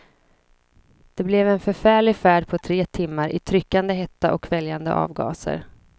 Det blev en förfärlig färd på tre timmar i tryckande hetta och kväljande avgaser.